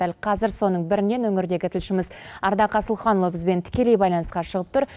дәл қазір соның бірінен өңірдегі тілшіміз ардақ асылханұлы бізбен тікелей байланысқа шығып тұр